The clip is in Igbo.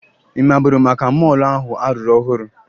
Ị maburu maka mọọlụ ahụ a rụrụ ọhụrụ?